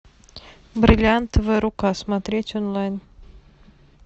бриллиантовая рука смотреть онлайн